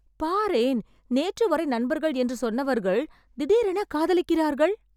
பாரேன், நேற்று வரை நண்பர்கள் என்று சொன்னவர்கள் திடீரென காதலிக்கிறார்கள்